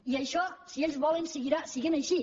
i això si ells volen seguirà sent així